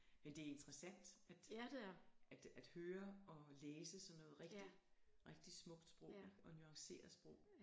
Men det er interessant at at at høre og læse sådan noget rigtig rigtig smukt sprog ikke og nuancere sprog